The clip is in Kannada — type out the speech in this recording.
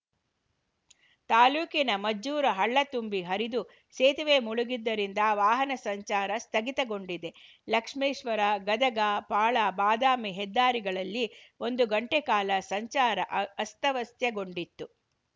ತಾಲೂಕಿನ ಮಜ್ಜೂರ ಹಳ್ಳ ತುಂಬಿ ಹರಿದು ಸೇತುವೆ ಮುಳುಗಿದ್ದರಿಂದ ವಾಹನ ಸಂಚಾರ ಸ್ಥಗಿತಗೊಂಡಿದೆ ಲಕ್ಷ್ಮೇಶ್ವರಗದಗ ಪಾಳಾಬಾದಾಮಿ ಹೆದ್ದಾರಿಗಳಲ್ಲಿ ಒಂದು ಗಂಟೆ ಕಾಲ ಸಂಚಾರ ಆ ಅಸ್ತವ್ಯಸ್ತಗೊಂಡಿತ್ತು